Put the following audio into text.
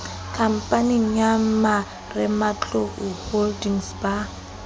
khamphaneng ya marematlou holdings ba